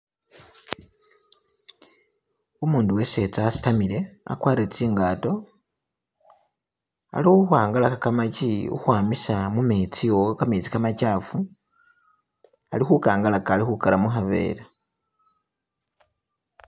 Umundu wesetsa wasitamile agwarile tsingato ali khukwangala kamagi khukwamisa mumetsi wo kametsi kamachafu ali khukangalaga alikhugara mukavera.